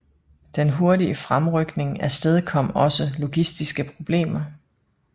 Den hurtige fremrykning afstedkom også logistiske problemer